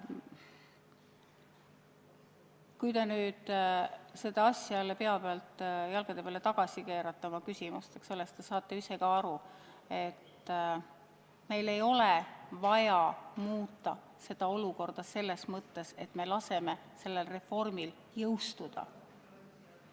Kui te oma küsimuses kõik jälle pea pealt jalgade peale tagasi keerate, siis saate ise ka aru, et meil ei ole vaja muuta seda olukorda selles mõttes, et me ei lase sellel reformil jõustuda.